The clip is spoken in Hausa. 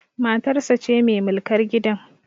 Matarsa ce mai mulkar gidan